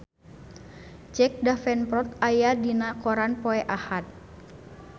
Jack Davenport aya dina koran poe Ahad